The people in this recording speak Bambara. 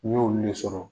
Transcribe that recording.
N'i y'olu le sɔrɔ